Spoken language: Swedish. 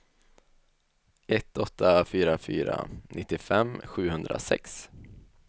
ett åtta fyra fyra nittiofem sjuhundrasex